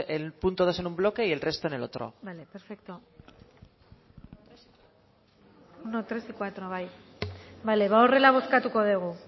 el punto dos en un bloque y el resto en el otro vale perfecto vale horrela bozkatuko dugu